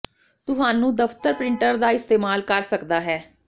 ਤੁਹਾਨੂੰ ਦੇ ਦਫ਼ਤਰ ਪ੍ਰਿੰਟਰ ਪੇਪਰ ਦਾ ਇਸਤੇਮਾਲ ਕਰ ਸਕਦਾ ਹੈ